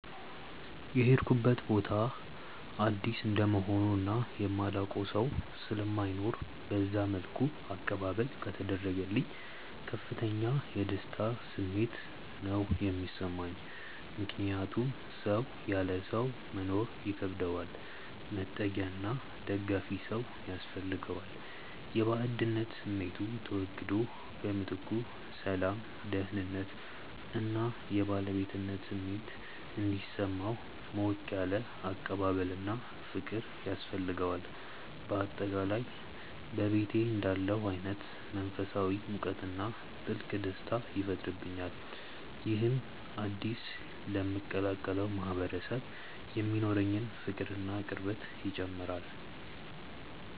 የሄድኩበት ቦታ አዲስ እንደመሆኑ እና የማላውቀው ሰው ስለማይኖር በዛ መልኩ አቀባበል ከተደረገልኝ ከፍተኛ የደስታ ስሜት ነው የሚሰማኝ። ምክንያቱም ሰው ያለ ሰው መኖር ይከብደዋል፤ መጠጊያና ደጋፊ ሰው ያስፈልገዋል። የባዕድነት ስሜቱ ተወግዶ በምትኩ ሰላም፣ ደህንነት እና የባለቤትነት ስሜት እንዲሰማው ሞቅ ያለ አቀባበልና ፍቅር ያስፈልገዋል። በአጠቃላይ በቤቴ እንዳለሁ አይነት መንፈሳዊ ሙቀትና ጥልቅ ደስታ ይፈጥርብኛል። ይህም አዲስ ለምቀላቀለው ማህበረሰብ የሚኖረኝን ፍቅርና ቅርበት ይጨምረዋል።